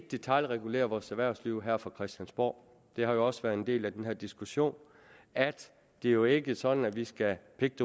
detailregulere vores erhvervsliv her fra christiansborg det har også været en del af den her diskussion at det jo ikke er sådan at vi skal pick